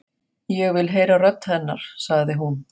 Ég vil heyra rödd hennar, sagði hún.